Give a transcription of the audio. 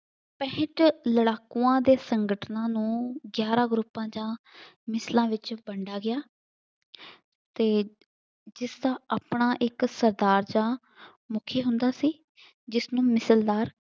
ਬਿਹਤਰ ਲੜਾਕੂਆਂ ਦੇ ਸੰਗਠਨਾਂ ਨੂੰ ਗਿਆਰਾਂ ਗਰੁੱਪਾਂ ਦਾ ਮਿਸਲਾਂ ਵਿੱਚ ਵੰਡਿਆ ਗਿਆ। ਅਤੇ ਜਿਸਦਾ ਆਪਣਾ ਇੱਕ ਸਰਦਾਰ ਦਾ ਮੁਖੀ ਹੁੰਦਾ ਸੀ ਜਿਸਨੂੰ ਮਿਸਲਦਾਰ